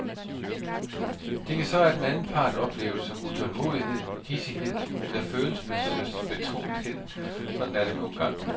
Det kan så af den anden part opleves som utålmodighed, hidsighed eller følelsesbetonethed, sådan er det nu engang.